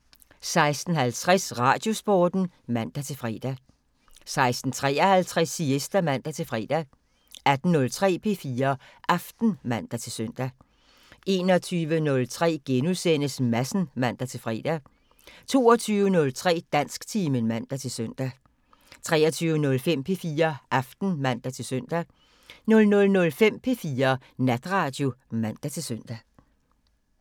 15:03: Siesta (man-tor) 16:50: Radiosporten (man-fre) 16:53: Siesta (man-fre) 18:03: P4 Aften (man-søn) 21:03: Madsen *(man-fre) 22:03: Dansktimen (man-søn) 23:05: P4 Aften (man-søn) 00:05: P4 Natradio (man-søn)